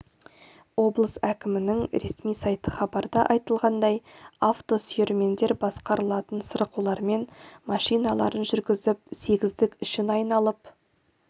облыс әкімінің ресми сайты хабарда айтылғандай авто сүйермендер басқарылатын сырғулармен машиналарын жүргізіп сегіздік ішін айналып